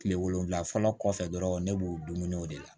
Kile wolonwula fɔlɔ kɔfɛ dɔrɔn ne b'o dumuniw de la